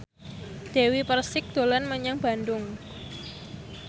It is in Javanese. Dewi Persik dolan menyang Bandung